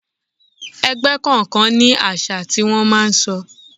Ẹgbẹ́ kọ̀ọ̀kan ní àṣà tí wón máa ń sọ.